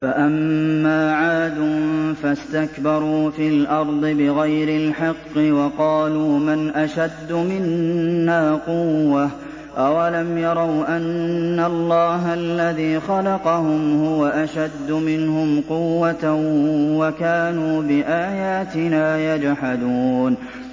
فَأَمَّا عَادٌ فَاسْتَكْبَرُوا فِي الْأَرْضِ بِغَيْرِ الْحَقِّ وَقَالُوا مَنْ أَشَدُّ مِنَّا قُوَّةً ۖ أَوَلَمْ يَرَوْا أَنَّ اللَّهَ الَّذِي خَلَقَهُمْ هُوَ أَشَدُّ مِنْهُمْ قُوَّةً ۖ وَكَانُوا بِآيَاتِنَا يَجْحَدُونَ